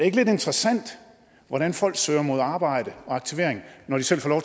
ikke lidt interessant hvordan folk søger mod arbejde og aktivering når de selv får